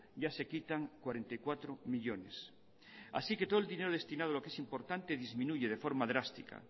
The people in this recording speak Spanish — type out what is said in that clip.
ya se quitan cuarenta y cuatro millónes así que todo el dinero destinado a lo que es importante disminuye de forma drástica